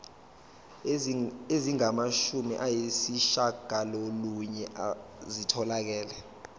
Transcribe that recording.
ezingamashumi ayishiyagalolunye zitholakele